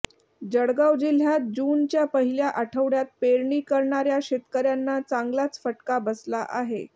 जळगाव जिल्ह्यात जुनच्या पहिल्या आठवड्यात पेरणी करणाऱ्या शेतकऱ्यांना चांगलाच फटका बसला आहे